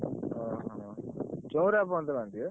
ଓହୋ ଚଉରା ପର୍ଯ୍ୟନ୍ତ ବାନ୍ଧିବେ?